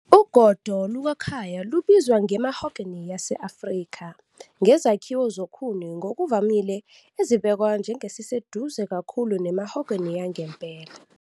Ugodo "lukaKhaya" lubizwa nge- "mahogany yase-Afrika", ngezakhiwo zokhuni ngokuvamile ezibhekwa njengeziseduze kakhulu ne- mahogany yangempela.